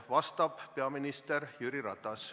Vastab peaminister Jüri Ratas.